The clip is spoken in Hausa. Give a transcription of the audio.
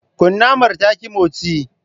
Kunamar ta ki motsi.